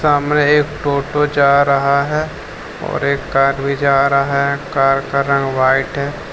समाने एक टोटो जा रहा है और एक कार भी जा रहा है कार का रंग व्हाइट है।